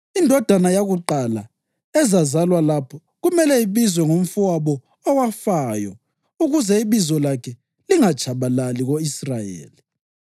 Indodana yakuqala ezazalwa lapho kumele ibizwe ngomfowabo owafayo ukuze ibizo lakhe lingatshabalali ko-Israyeli.